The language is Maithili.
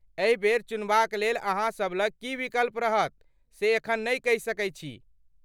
एहि बेर चुनबाक लेल अहाँसब लग की विकल्प रहत से एखन नै कहि सकै छी।